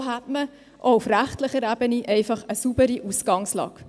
So hätte man auch auf rechtlicher Ebene einfach eine saubere Ausgangslage.